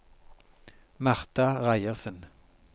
Marta Reiersen